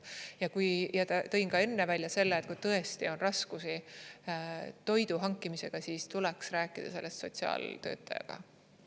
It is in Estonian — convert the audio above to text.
Ja kui ma tõin enne välja selle, et kui tõesti on raskusi toidu hankimisega, siis tuleks rääkida sellest sotsiaaltöötajaga.